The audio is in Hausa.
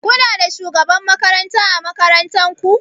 Kuna da shugaban makaranta ã makarantan ku?